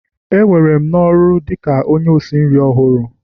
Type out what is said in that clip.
E were m n'ọrụ dị ka onye isi nri ọhụrụ